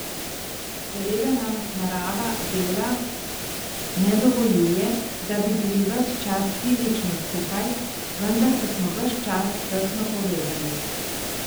Seveda nam narava dela ne dovoljuje, da bi bili ves čas fizično skupaj, vendar pa smo ves čas tesno povezani.